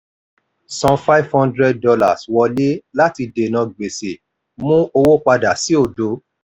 san five hundred dollars wọlé láti dènà gbèsè mú owó padà sí òdo.